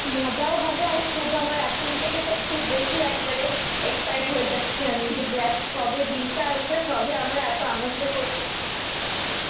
মজাও হবে আর খুব আমার এখন থেকে তো খুব বেশি একবারে excite হয় যাচ্ছি আমি দেখ কবে দিনটা আসবে আর কবে আমরা এত আনন্দ করবো